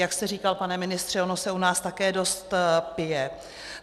Jak jste říkal, pane ministře, ono se u nás také dost pije.